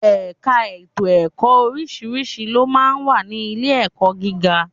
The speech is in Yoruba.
Ẹ̀ka ètò ẹ̀kọ́ oríṣiríṣi ló máa ń wà ní ilé-ẹ̀kọ́ gíga